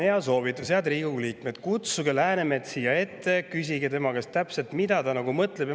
Mul on soovitus headele Riigikogu liikmetele: kutsuge Läänemets siia ette, küsige täpselt tema käest, mida ta mõtleb.